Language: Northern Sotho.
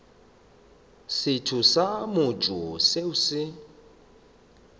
setho sa mmušo seo se